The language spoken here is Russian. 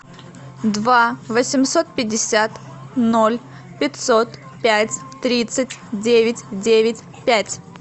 два восемьсот пятьдесят ноль пятьсот пять тридцать девять девять пять